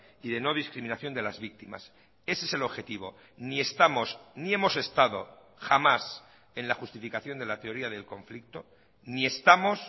y de no discriminación de las víctimas ese es el objetivo ni estamos ni hemos estado jamás en la justificación de la teoría del conflicto ni estamos